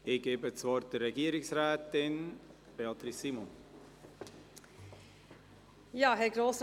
Ich erteile Regierungsrätin Beatrice Simon das Wort.